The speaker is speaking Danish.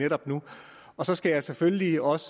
netop nu og så skal jeg selvfølgelig også